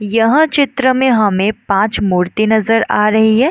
यह चित्र में हमे पाँच मूर्ति नज़र आ रही है।